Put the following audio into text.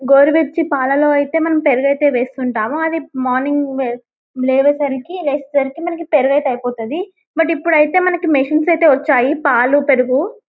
గోరువెచ్చి పాలల్లో ఐతే మనం పెరుగయితే వేస్తుంటాము అవి మార్నింగ్ వె-లేవేసరికి-లేచేసరికి మనకి పెరుగయితే అయిపోతాది బట్ ఇప్పుడైతే మనకి మిస్సన్స్ అయితే వచ్చాయి పాలు పెరుగు--